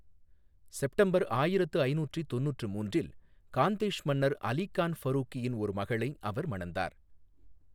September ஆயிரத்து ஐநூற்றி தொண்ணூற்று மூன்றில், காந்தேஷ் மன்னர் அலி கான் ஃபரூகியின் ஒரு மகளை அவர் மணந்தார்.